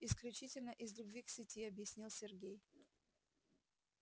исключительно из любви к сети объяснил сергей